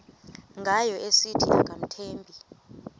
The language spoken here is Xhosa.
ngayo esithi akamthembi